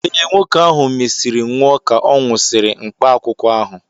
Ee, nwoke ahụ mesịrị nwụọ ka ọ nwụsịrị mkpaakwụkwọ ahụ.